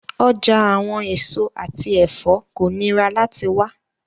Ọja awọn eso ati ẹfọ ko nira lati wa